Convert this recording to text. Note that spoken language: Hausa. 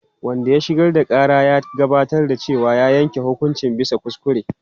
Wanda ya shigar da ƙara ya gabatar da cewa an yanke hukunci bisa kuskure.